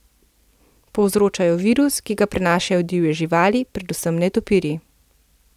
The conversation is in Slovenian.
Povzroča jo virus, ki ga prenašajo divje živali, predvsem netopirji.